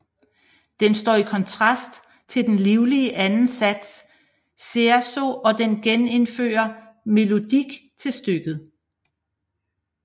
Den står i kontrast til den livlige anden sats Scherzo og den genindfører melodik til stykket